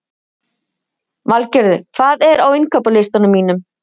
Valgerður, hvað er á innkaupalistanum mínum?